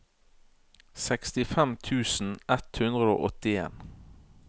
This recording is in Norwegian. sekstifem tusen ett hundre og åttien